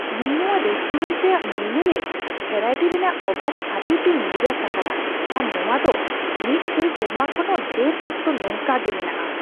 ᱤᱧ ᱱᱚᱣᱟ ᱨᱮᱥᱴᱳᱨᱮᱱᱴ ᱨᱮᱭᱟᱜ ᱢᱮᱱᱩ ᱨᱮ ᱵᱷᱮᱨᱟᱭᱴᱤ ᱨᱮᱭᱟᱜ ᱚᱵᱷᱟᱵᱽ ᱠᱷᱟᱹᱛᱤᱨ ᱛᱮᱧ ᱱᱤᱨᱟᱥ ᱟᱠᱟᱱᱟ ᱟᱨ ᱱᱚᱣᱟ ᱫᱚ ᱢᱤᱫ ᱜᱮᱞ ᱥᱮᱨᱢᱟ ᱠᱷᱚᱱ ᱦᱚᱸ ᱰᱷᱮᱨ ᱚᱠᱛᱚ ᱱᱚᱝᱠᱟ ᱜᱮ ᱢᱮᱱᱟᱜᱼᱟ ᱾